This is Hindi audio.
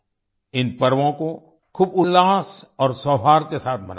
इन पर्वों को खूब उल्लास और सौहार्द के साथ मनाइए